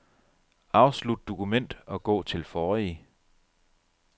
Afslut dokument og gå til forrige.